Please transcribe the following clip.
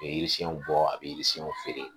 Bɛ yirisiyɛnw bɔ a bɛ yirisiyɛnw feere